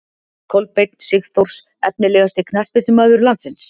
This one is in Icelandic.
Kolbeinn sigþórs Efnilegasti knattspyrnumaður landsins?